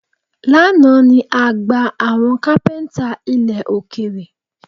Lánàá ni a gba àwọn kápẹ́ńtà ilẹ̀ òkèrè